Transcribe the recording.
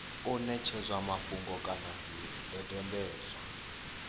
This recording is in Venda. u ṋetshedzwa mafhungo kana zwidodombedzwa